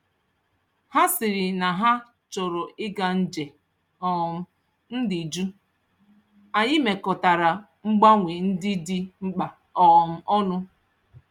Ha sịrị na ha chọrọ ịga nje um m dị jụụ, anyị mekọtara mgbanwe ndị dị mkpa um ọnụ.